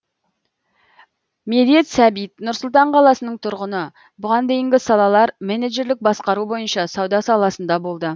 медет сәбит нұр сұлтан қаласының тұрғыны бұған дейінгі салалар менеджерлік басқару бойынша сауда саласында болды